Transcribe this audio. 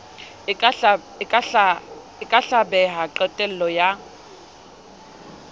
e ka hlabeha qetello ya